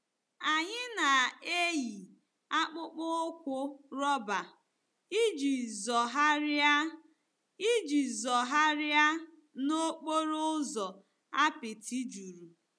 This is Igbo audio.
Anyị na-eyi akpụkpọ ụkwụ rọba iji zọgharịa iji zọgharịa n'okporo ụzọ apịtị juru.